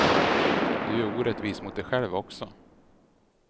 Du är orättvis mot dig själv också.